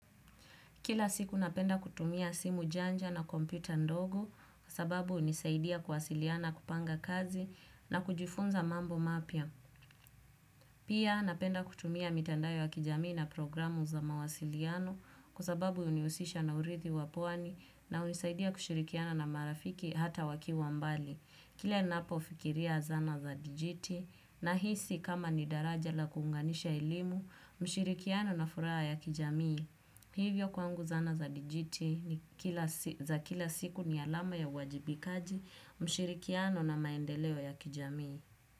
Kila siku napenda kutumia simu janja na kompyuta ndogo kwa sababu hunisaidia kuwasiliana, kupanga kazi na kujifunza mambo mapya. Pia napenda kutumia mitandao ya kijamii na programu za mawasiliano kwasababu hunihusisha na urithi wa pwani na hunisaidia kushirikiana na marafiki hata wakiwa mbali. Kila ninapofikiria zana za dijiti nahisi kama ni daraja la kuunganisha elimu, ushirikiano na furaha ya kijamii. Hivyo kwangu zana za dijiti za kila siku ni alama ya uwajibikaji, ushirikiano na maendeleo ya kijamii.